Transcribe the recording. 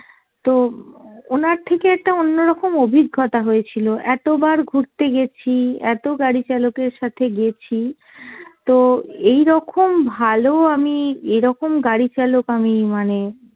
তো ওনার থেকে একটা অন্যরকম অভিজ্ঞতা হয়েছিল। এত বার ঘুরতে গেছি, এত গাড়ি চালকের সাথে গেছি তো এইরকম ভালো আমি এরকম গাড়ি চালক আমি মানে